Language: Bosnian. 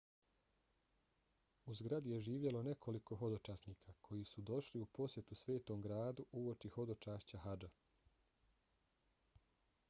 u zgradi je živjelo nekoliko hodočasnika koji su došli u posjetu svetom gradu uoči hodočašća hadža